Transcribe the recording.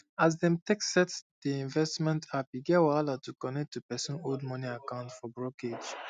as dem um take set the um investment appe get wahala to connect um to pesin old money account for brokerage